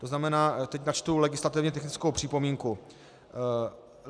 To znamená, teď načtu legislativně technickou připomínku.